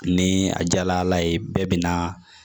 Ni a jala ala ye bɛɛ bɛna